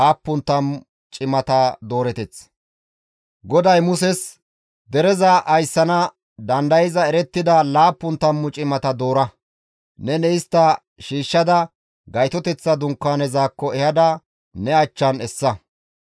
GODAY Muses, «Dereza ayssana dandayza erettida laappun tammu cimata doora; neni istta shiishshada Gaytoteththa Dunkaanezakko ehada ne achchan essa.